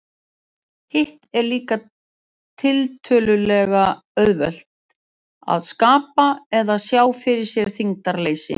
Hitt er líka tiltölulega auðvelt, að skapa eða sjá fyrir sér þyngdarleysi.